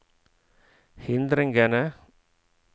hindringene